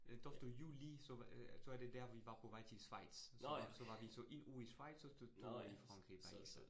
Øh tolvte juli, så øh så er det der, vi var på vej til Schweiz. Så var så var vi så 1 uge i Schweiz, og så tog vi Frankrig bagefter